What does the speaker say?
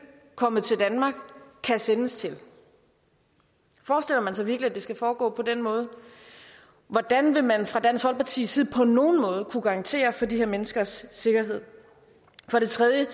og kommet til danmark kan sendes til forestiller man sig virkelig at det skal foregå på den måde hvordan vil man fra dansk folkepartis side på nogen måde kunne garantere for de her menneskers sikkerhed for det tredje